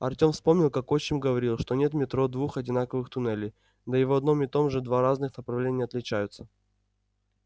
артём вспомнил как отчим говорил что нет в метро двух одинаковых туннелей да и в одном и том же два разных направления отличаются